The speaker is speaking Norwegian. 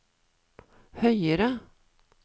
høyere